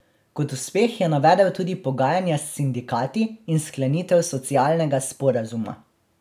Kot uspeh je navedel tudi pogajanja s sindikati in sklenitev socialnega sporazuma.